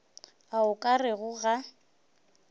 a o ka rego ga